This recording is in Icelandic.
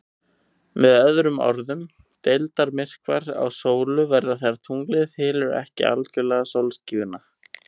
Með öðrum orðum, deildarmyrkvar á sólu verða þegar tunglið hylur ekki algjörlega sólskífuna.